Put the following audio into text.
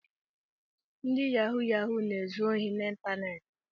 Ndị yahụ yahụ na-ezu ohi n’iteneti